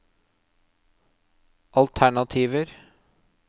alternativer